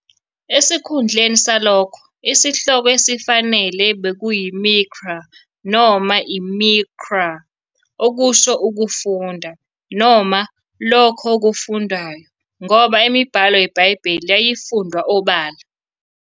Esikhundleni salokho, isihloko esifanele "bekuyiMikra", noma "iMiqra", okusho "ukufunda" noma "lokho okufundwayo", ngoba imibhalo yeBhayibheli yayifundwa obala.